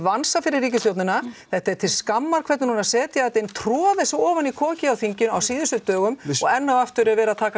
vansa fyrir ríkisstjórnina þetta er til skammar hvernig hún er að setja þetta inn troða þessu inn í kokið á þinginu á síðustu dögum og enn og aftur er verið að taka